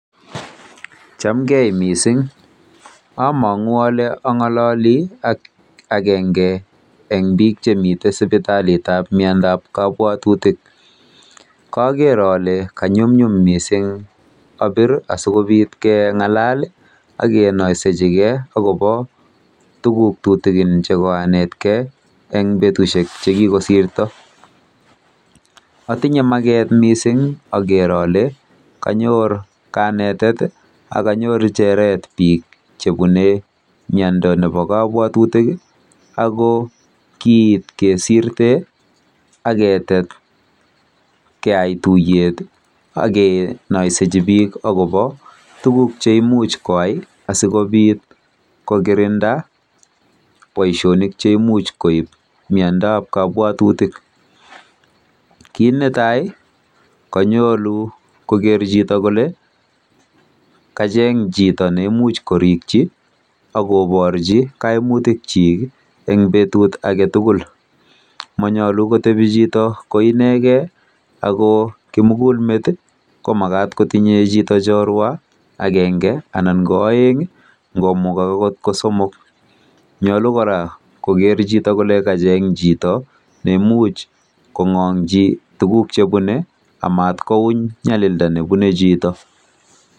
Chamgee mising amagu ale angololi ak ageng eng biik chemiten en sipitalit ab kabwatutik koker ole nyumnyum missing abir asigobiit kengalal agenoisiechi gee agobo tuguk tutugin chegoranetgei eng betusiek chegikosirto atinye maget missing ager ole kanyor kanetet ak anyoru cheret kobun miando nebo kabwatutik ago kiit kesirte ak ketet keyai tuyet agenaisechi biik agobo tuguk cheimuch koyai asigobiit kokirinda baisionik cheimuch koib miando ab kabwatutik kiit netai konyalu koker chito kole kacheny chito ne imuuch koribchi agoborchi koimutik chik en betut agetugul manyalu kotebi chito koinegen ago kimugulmet komagat kotindoi chito chilorwet agenge anan ko aeng anan got komukogse ko somok nyalu kora chito kole kacheny chito ne imuuch kongolchi tuguk chebune kou nyalilda nebune chito